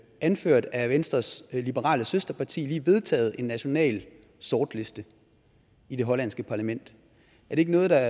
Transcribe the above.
anført af venstres liberale søsterparti lige vedtaget en national sortliste i det hollandske parlament er det ikke noget der